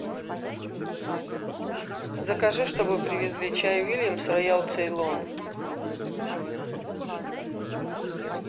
закажи чтобы привезли чай вильямс роял цейлон